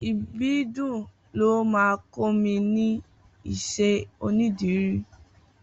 Ibidun ló mà kọ mi ni iṣẹ ónìdìrí